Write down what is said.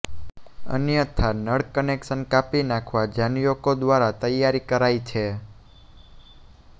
અન્યથા નળ કનેકશન કાપી નાંખવા જામ્યુકો દ્વારા તૈયારી કરાઇ છે